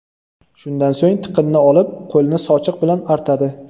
Shundan so‘ng tiqinni olib, qo‘lni sochiq bilan artadi.